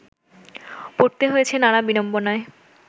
পড়তে হয়েছে নানা বিড়ম্বনায়